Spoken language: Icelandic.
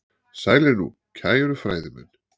Sælir nú, kæru fræðimenn.